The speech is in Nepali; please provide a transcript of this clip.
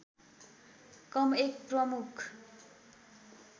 कम एक प्रमुख